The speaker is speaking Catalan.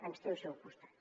ens té al seu costat